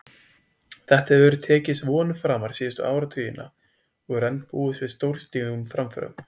Þetta hefur tekist vonum framar síðustu áratugina og enn er búist við stórstígum framförum.